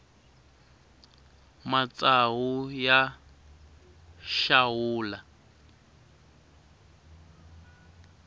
matsawu ya xawula